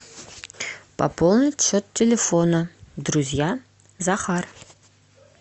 пополнить счет телефона друзья захар